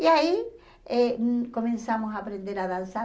E aí eh começamos a aprender a dançar.